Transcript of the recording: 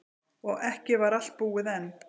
Og ekki var allt búið enn.